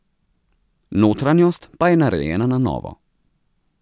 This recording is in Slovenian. Notranjost pa je narejena na novo.